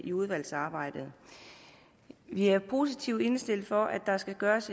i udvalgsarbejdet vi er positivt indstillet over for at der skal gøres